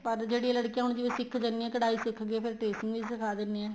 ਪਰ ਜਿਹੜੀਆਂ ਲੜਕੀਆਂ ਹੁਣ ਜਿਵੇਂ ਸਿਖ ਜਾਣੀਆਂ ਏ ਕਢਾਈ ਸਿੱਖ ਗਏ ਫ਼ੇਰ tracing ਵੀ ਸਿਖਾ ਦਿੰਨੇ ਏ